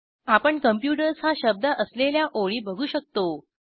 आपण कॉम्प्युटर्स हा शब्द असलेल्या ओळी बघू शकतो